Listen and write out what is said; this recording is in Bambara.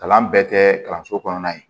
Kalan bɛɛ tɛ kalanso kɔnɔna ye